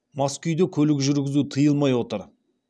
мас күйде көлік жүргізу тыйылмай отыр